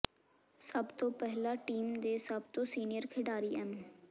ਸਭ ਤੋਂ ਪਹਿਲਾਂ ਟੀਮ ਦੇ ਸਭ ਤੋਂ ਸੀਨੀਅਰ ਖਿਡਾਰੀ ਐਮ